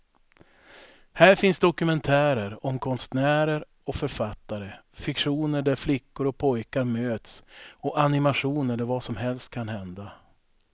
Här finns dokumentärer om konstnärer och författare, fiktioner där flickor och pojkar möts och animationer där vad som helst kan hända.